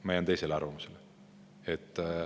Ma jään teisele arvamusele.